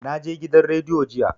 Na je gidan rediyo jiya